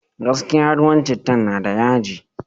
Gaskiya, ruwan cittan na da yaji.